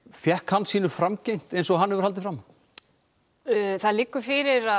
fékk hann sínu framgengt eins og hann hefur haldið fram það liggur fyrir að